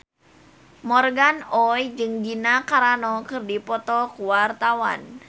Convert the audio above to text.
Morgan Oey jeung Gina Carano keur dipoto ku wartawan